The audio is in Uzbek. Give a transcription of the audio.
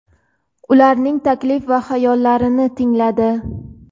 ularning taklif va g‘oyalarini tingladi.